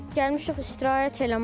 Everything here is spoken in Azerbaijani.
Gəlmişik istirahət eləməyə.